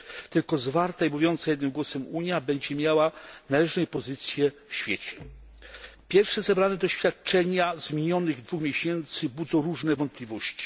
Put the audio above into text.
Tylko zwarta i mówiąca jednym głosem Unia będzie miała należną jej pozycję w świecie. Pierwsze zebrane doświadczenia z minionych dwóch miesięcy budzą różne wątpliwości.